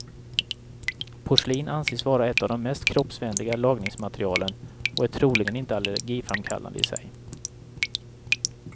Porslin anses vara ett av de mest kroppsvänliga lagningsmaterialen och är troligen inte allergiframkallande i sig.